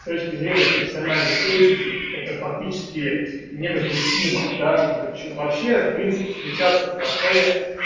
с точки зрения профессиональной этики это фактически недопустимо да что-то вообще в принципе встречаться в кафе